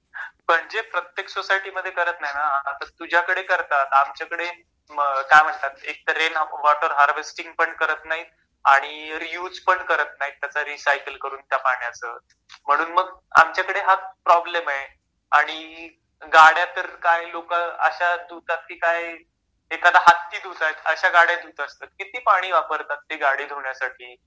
म्हणजे प्रत्येक सोसायटी मध्ये करत नाही ना आता तुझ्याकडे करतात आमच्याकडे काय म्हणतात एक तर रेन वॉटर हारवेसटिंग पण करत नाहीत... आणि रीयुज पण करत नाहीत त्याच रिसायकल करून त्या पाण्याच म्हणून मग आमच्याकडे हा प्रॉब्लेम आहे आणि गाड्या तर काही लोक अश्या धुतात की काही एखादा हत्ती धुताएत अश्या गाड्या धुत असतात किती पाणी वापरतात ते गाडी धुण्यासाठी...